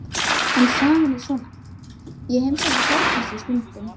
En sagan er svona: Ég heimsæki Hjördísi stundum.